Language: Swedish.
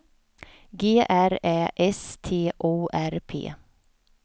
G R Ä S T O R P